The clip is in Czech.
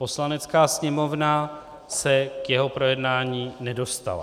Poslanecká sněmovna se k jeho projednání nedostala.